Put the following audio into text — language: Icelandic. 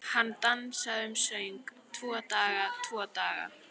Hann dansaði um og söng: Tvo daga, tvo daga